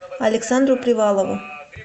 александру привалову